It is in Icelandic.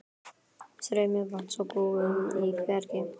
Streymi vatns og gufu í bergi